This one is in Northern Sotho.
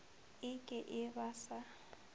e ke e ba sa